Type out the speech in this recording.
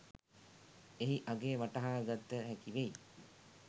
එහි අගය වටහාගත හැකිවෙයි.